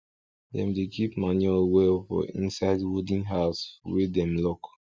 dem dey keep manure well for inside wooden house wey dem lock